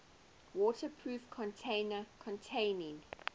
waterproof container containing